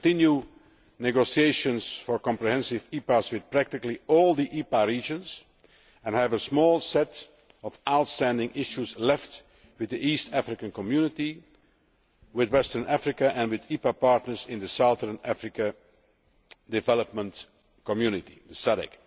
We are continuing negotiations for comprehensive EPAs with practically all the EPA regions and I have a small set of outstanding issues left with the East African Community, with Western Africa and with EPA partners in the Southern Africa Development Community, the SADC.